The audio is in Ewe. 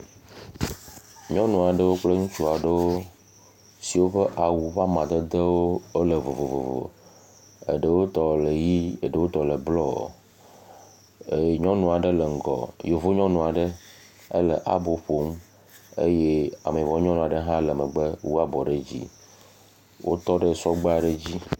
Nyɔnu aɖewo kple ŋutsu aɖewo siwo ƒe awu ƒe amadedewo le vovovo aɖewo tɔ le ʋi eɖewo tɔ le blɔɔ, ee… nyɔnu aɖe le ŋgɔ, yevu nyɔnu aɖe ele abo ƒom eye ameyibɔ nyɔnu aɖe le megbe, wotɔ ɖe sɔgbe aɖe dzi.